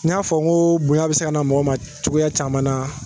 N y'a fɔ ko bonya bɛ se ka na mɔgɔ ma cogoya caman na